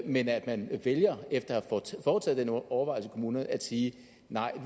men at man vælger efter at have foretaget den overvejelse i kommunerne at sige